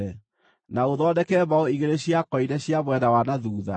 na ũthondeke mbaũ igĩrĩ cia koine cia mwena wa na thuutha.